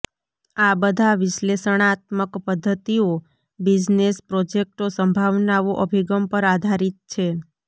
આ બધા વિશ્લેષણાત્મક પદ્ધતિઓ બિઝનેસ પ્રોજેક્ટો સંભાવનાઓ અભિગમ પર આધારિત છે